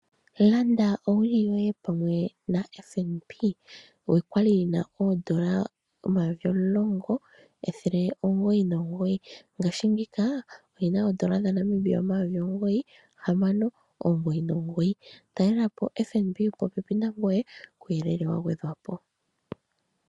Landa owili yoye pamwe naFNB kwali yi na oondola omayovi omulongo ethele limwe noondola omilongo omugoyi nomugoyi ngaashingeyi oyi na oondola dhaNamibia omayovi omugoyi omathele gahamano noondola omilongo omugoyi nomugoyi talelapo ombelewa yaFNB yili popepi nangoye kuuyelele wa gwedhwapo.